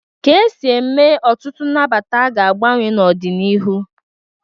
Ka esi eme ọtụtụ nnabata ga-agbanwe n'ọ dị n'iru.